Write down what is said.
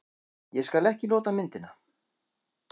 Ég skal ekki nota myndina.